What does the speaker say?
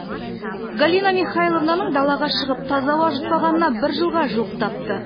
галина михайловнаның далаға шығып таза ауа жұтпағанына бір жылға жуықтапты